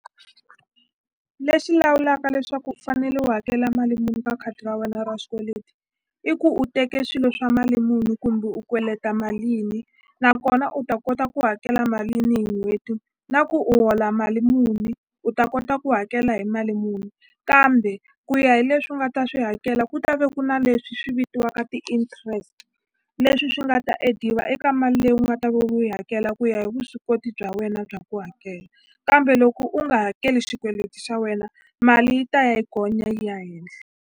Lexi lawulaka leswaku u fanele u hakela mali muni ka khadi ra wena ra xikweleti i ku u teke swilo swa mali muni kumbe u kweleta malini nakona u ta kota ku hakela malini hi n'hweti na ku u hola mali muni u ta kota ku hakela hi mali muni kambe ku ya hi leswi u nga ta swi hakela ku ta ve ku na leswi swi vitiwaka ti-interest leswi swi nga ta add-iwa eka mali leyi u nga ta ve u yi hakela ku ya hi vuswikoti bya wena bya ku hakela kambe loko u nga hakeli xikweleti xa wena mali yi ta ya yi gonya yi ya henhla.